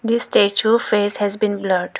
The statue face has been blurred.